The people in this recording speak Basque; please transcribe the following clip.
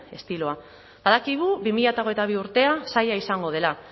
estiloa badakigu bi mila hogeita bi urtea zaila izango dela